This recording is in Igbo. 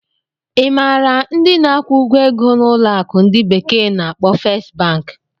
Ị maara ndị na-akwụ ụgwọ ego na ụlọ akụ ndi bekee na-akpo Fest Banki?